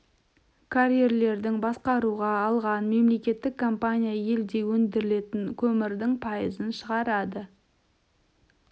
карьерлерді басқаруға алған мемлекеттік компания елде өндірілетін көмірдің пайызын шығарады